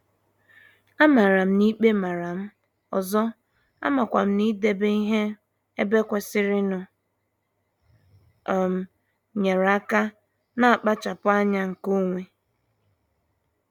Amara m n'ikpe maram, ọzọ, amakwam n'idebe ihe ebe kwesịrịnụ um nyere aka na nkpachapu anya nke onwe.